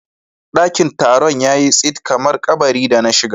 Daƙin Taron yayi tsit kamar kaɓari da na shiga.